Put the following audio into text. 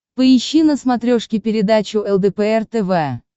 поищи на смотрешке передачу лдпр тв